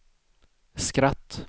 skratt